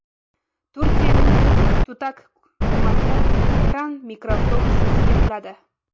Turkiyaning Tutak tumanida kran mikroavtobus ustiga quladi.